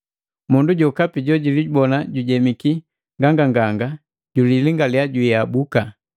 Mundu jokapi jojilibona jujemiki nganganganga julilingaliya jiabuka!